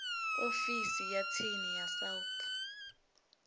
ofisi ya tsini ya south